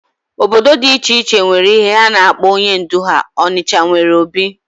Obodo dị iche iche nwere ihe ha na-akpọ onye ndú ha. Ọnịcha nwere obi